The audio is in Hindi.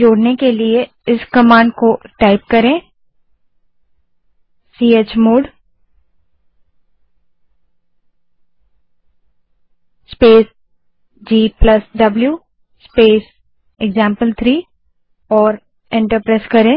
जोड़ने के लिए इस command chmod space gw space example three को टाइप करें और एंटर दबायें